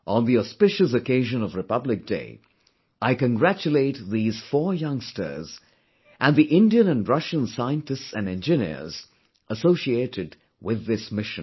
On the auspicious occasion of Republic Day, I congratulate these four youngsters and the Indian and Russian scientists and engineers associated with this mission